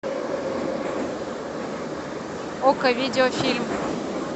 окко видеофильм